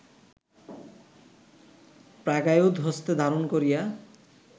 প্রাগায়ুধ হস্তে ধারণ করিয়া